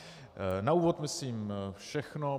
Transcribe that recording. Na úvod myslím všechno.